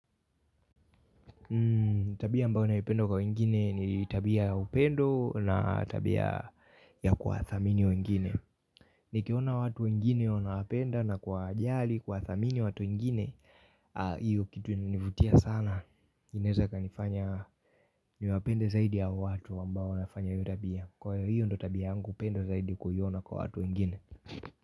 Tabia ambayo naipenda kwa wengine ni tabia ya upendo na tabia ya kuwathamini wengine. Nikiona watu wengine wanawapenda na kuwajali kuwathamini watu wengine iyo kitu inanivutia sana inaweza ikanifanya niwapende zaidi ya watu ambao wanafanya iyo tabia. Kwaiyo hio ndio tabia yangu pendwa zaidi kuiona kwa watu wengine.